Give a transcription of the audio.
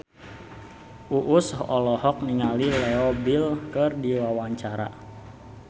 Uus olohok ningali Leo Bill keur diwawancara